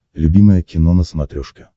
любимое кино на смотрешке